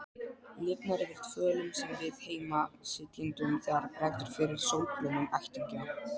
Lifnar yfir fölum við-sem-heima-sitjendum þegar bregður fyrir sólbrúnum ættingja.